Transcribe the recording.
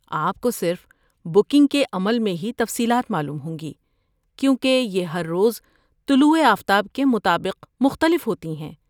آپ کو صرف بکنگ کے عمل میں ہی تفصیلات معلوم ہوں گی، کیونکہ یہ ہر روز طلوع آفتاب کے مطابق مختلف ہوتی ہیں۔